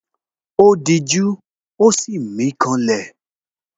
Ó dijú, ó sì mí ká lẹ̀